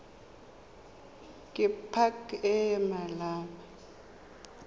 ke pac e e maleba